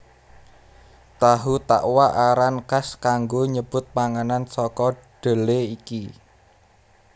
Tahu Takwa aran kas kanggo nyebut panganan saka dhelé iki